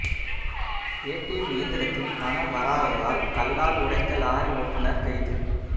ATM இயந்திரத்தில் பணம் வராததால் கல்லால் உடைத்த லாரி ஓட்டுநா் கைது